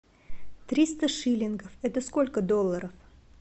триста шиллингов это сколько долларов